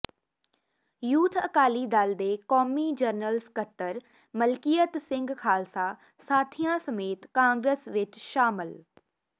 youth Akali Dal ਦੇ ਕੌਮੀ general ਸਕੱਤਰ ਮਲਕੀਅਤ ਸਿੰਘ ਖਾਲਸਾ ਸਾਥੀਆਂ ਸਮੇਤ ਕਾਂਗਰਸ ਵਿੱਚ ਸ਼ਾਮਲ